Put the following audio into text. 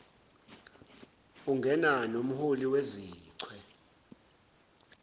ungena nomholi wezichwe